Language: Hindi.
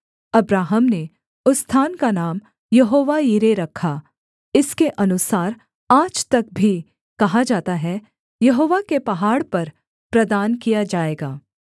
अब्राहम ने उस स्थान का नाम यहोवा यिरे रखा इसके अनुसार आज तक भी कहा जाता है यहोवा के पहाड़ पर प्रदान किया जाएगा